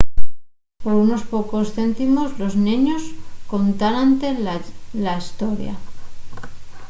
por unos pocos céntimos los neños contaránte la hestoria